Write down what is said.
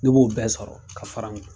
Ne b'o bɛɛ sɔrɔ ka fara n